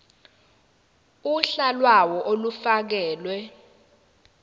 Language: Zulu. uhla lawo olufakelwe